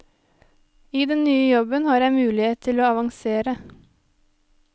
I den nye jobben har jeg mulighet til å avansere.